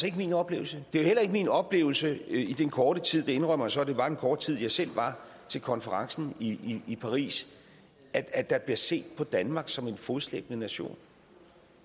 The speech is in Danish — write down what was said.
ikke min oplevelse det var heller ikke min oplevelse i den korte tid jeg indrømmer så at det var en kort tid jeg selv var til konferencen i paris at der bliver set på danmark som en fodslæbende nation